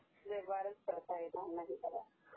is not Clear